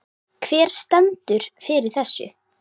Hver stendur fyrir þessu?